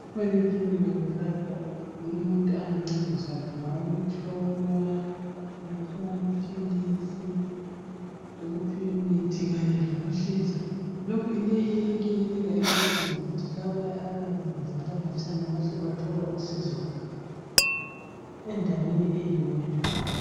Emakilinika kulapho umuntu ongancediswa khona ukuhlolwa ukuphiwa amaphilisi lokuphiwa imithi kanye lokuhlinzwa leyi ikilinika inceda ngokuthi laba abayabe bevela khatshana bahle bethole usizo endaweni eyodwa.